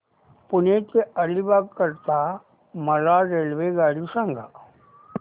पेण ते अलिबाग करीता मला रेल्वेगाडी सांगा